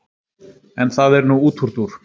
en það er nú útúrdúr